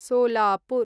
Solapur